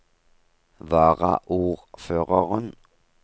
varaordføreren